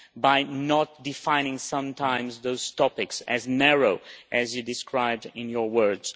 by not defining sometimes those topics as narrowly as you described in your words.